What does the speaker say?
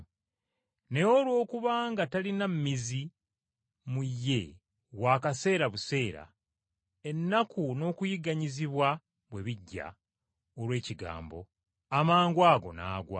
naye olw’okuba nga talina mmizi mu ye, wa kaseera buseera, ennaku n’okuyigganyizibwa bwe bijja olw’ekigambo, amangwago n’agwa.